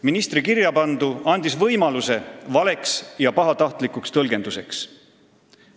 Ministri kirjapandu andis võimaluse valeks ja pahatahtlikuks tõlgenduseks.